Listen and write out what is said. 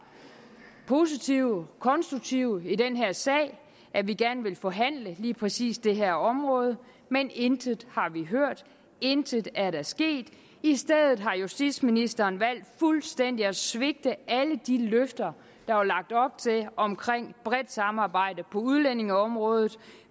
positive og konstruktive i den her sag og at vi gerne ville forhandle lige præcis det her område men intet har vi hørt intet er der sket i stedet har justitsministeren valgt fuldstændig at svigte alle de løfter der var lagt op til om bredt samarbejde på udlændingeområdet